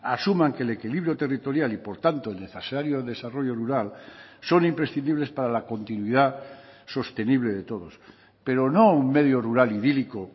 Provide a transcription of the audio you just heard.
asuman que el equilibrio territorial y por tanto el necesario desarrollo rural son imprescindibles para la continuidad sostenible de todos pero no un medio rural idílico